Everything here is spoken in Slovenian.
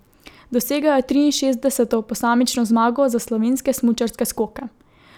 Dosegel je triinšestdeseto posamično zmago za slovenske smučarske skoke.